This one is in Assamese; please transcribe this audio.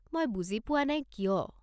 মই বুজি পোৱা নাই কিয়।